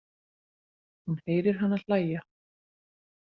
Hún heyrir hana hlæja.